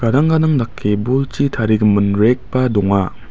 dake bolchi tarigimin rek ba donga.